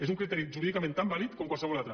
és un criteri jurídicament tan vàlid com qualsevol altre